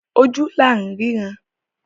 Ojú la rínran.